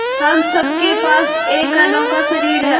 हम सब के पास एक अनोखा शरीर है